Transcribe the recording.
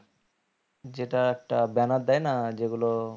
যেটা একটা banner দেয় না যেগুলো